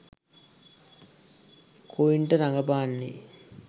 කුයින්ට රගපාන්නේ.